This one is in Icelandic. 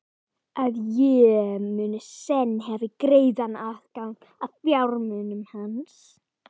Að ég muni senn hafa greiðan aðgang að fjármunum hans?